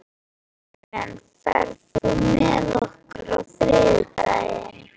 Íren, ferð þú með okkur á þriðjudaginn?